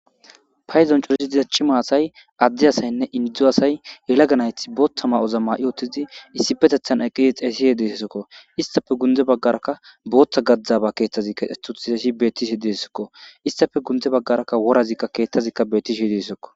Paydon codiy diza cima asiy ade asayne indo asay yelaga nayti Botha mayo mayi uttidi issipetethan eqidi xessise dizaysako isstape gunde bagara Botha gabay kexeti uttidaysi betes isstape gunde bagara worazi kethazika betishe dizaysako